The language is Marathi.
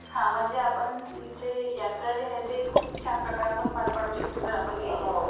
हा म्हणजे आपण यात्रा जी आहेत खूप छान प्रकारे आपण पार पाडु शकतो जर आपण गेल तर.